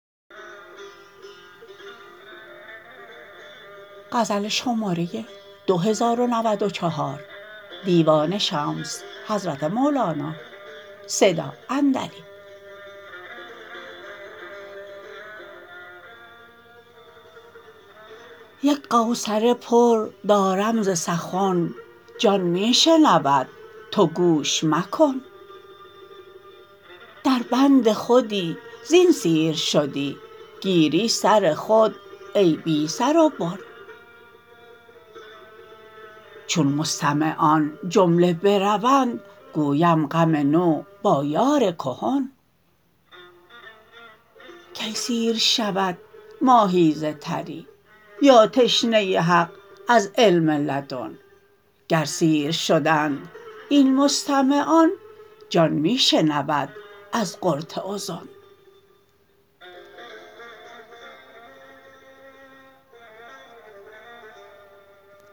یک قوصره پر دارم ز سخن جان می شنود تو گوش مکن دربند خودی زین سیر شدی گیری سر خود ای بی سر و بن چون مستمعان جمله بروند گویم غم نو با یار کهن کی سیر شود ماهی ز تری یا تشنه حق از علم لدن گر سیر شدند این مستمعان جان می شنود از قرط اذن